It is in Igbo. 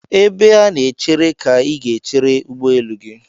Ebe a na-echere ka ị ga-echere ụgbọelu gị.